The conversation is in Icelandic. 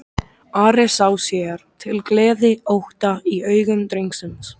Ari sá sér til gleði ótta í augum drengsins.